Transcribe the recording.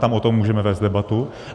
Tam o tom můžeme vést debatu.